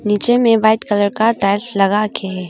नीचे में white colour का टाइल्स लगा के है।